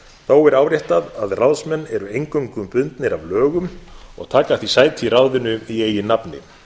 þó er áréttað að ráðsmenn eru eingöngu bundnir af lögum og taka því sæti í ráðinu í eigin nafni